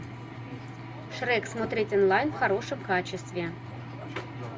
шрек смотреть онлайн в хорошем качестве